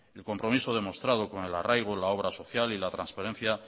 el compromiso demostrado con el arraigo la obra social y la transparencia